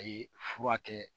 A ye fura kɛ